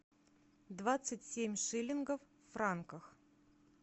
двадцать семь шиллингов в франках